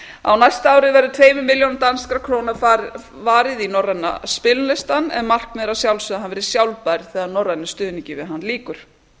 á næsta ári verður tveimur milljónum danskra króna varið í norræna spilalistann en markmiðið er að sjálfsögðu að hann verði sjálfbær þegar norrænum stuðningi við hann lýkur